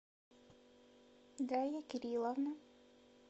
дарья кирилловна